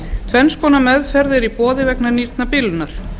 tvenns konar meðferð er í boði vegna nýrnabilunar